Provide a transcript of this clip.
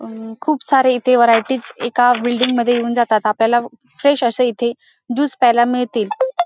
अं खूप सारे इथे व्हरायटीज एका बिल्डिंग मध्ये येऊन जातात आपल्याला फ्रेश अस येथे ज्यूस प्यायला मिळतील.